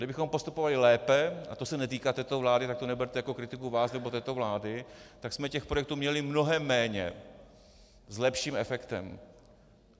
Kdybychom postupovali lépe, a to se netýká této vlády, tak to neberte jako kritiku vás nebo této vlády, tak jsme těch projektů měli mnohem méně s lepším efektem.